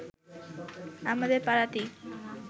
আমাদের পাড়াতেই